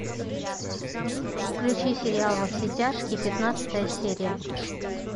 включи сериал во все тяжкие пятнадцатая серия